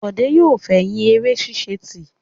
Bọ̀dé yóò fẹ̀yìn eré ṣíṣe tì.